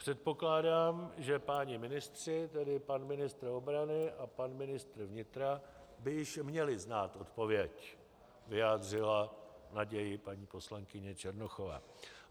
Předpokládám, že páni ministři, tedy pan ministr obrany a pan ministr vnitra, by již měli znát odpověď, vyjádřila naději paní poslankyně Černochová.